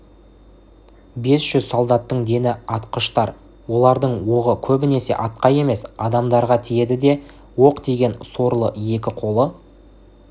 бес жүз солдаттың дені атқыштар олардың оғы көбінесе атқа емес адамдарға тиеді де оқ тиген сорлы екі қолы